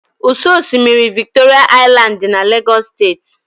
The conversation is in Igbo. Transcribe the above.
Ụ́sọ̀ osimiri Victoria Island dị na Lagos State.